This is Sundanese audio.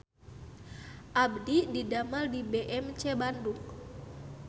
Abdi didamel di BMC Bandung